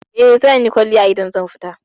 Eh, zanyi kwalliya idan zan fita.